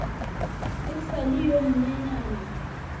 e sa le yo monyenyane